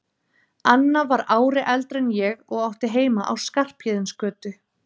Anna var ári eldri en ég og átti heima á Skarphéðinsgötu.